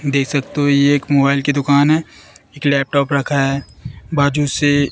देख सकते हो ये एक मोबाइल की दुकान है एक लैपटॉप रखा है बाजू से--